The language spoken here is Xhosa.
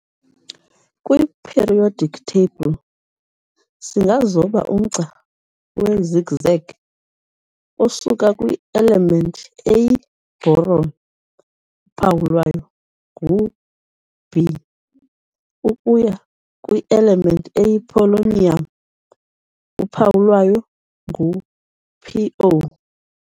Kwi-periodic table, singazoba umgca we-zigzag osuka kwi-element eyi-boron, uphawu lwayo ngu-B, ukuya kwi-element eyi-polonium, uphawu lwayo ngu-Po.